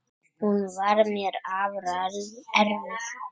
Hún var mér afar erfið.